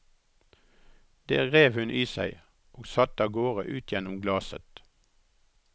Det rev hun i seg, og satte av gårde ut gjennom glaset.